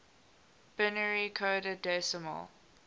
binary coded decimal